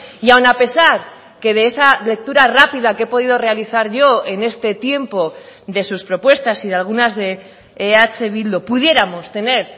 y aún a pesar que de esa lectura rápida que he podido realizar yo en este tiempo de sus propuestas y de algunas de eh bildu pudiéramos tener